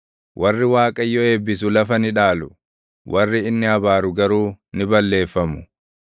warri Waaqayyo eebbisu lafa ni dhaalu; warri inni abaaru garuu ni balleeffamu.